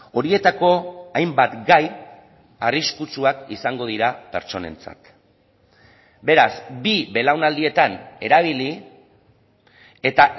horietako hainbat gai arriskutsuak izango dira pertsonentzat beraz bi belaunaldietan erabili eta